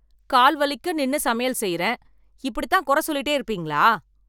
கால் வலிக்க நின்னு சமையல் செய்யறேன். இப்படித்தான் குறை சொல்லிட்டே இருப்பீங்களா.